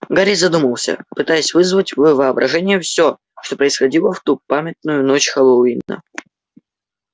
гарри задумался пытаясь вызвать в воображении все что происходило в ту памятную ночь хэллоуина